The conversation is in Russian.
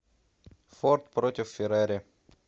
форд против феррари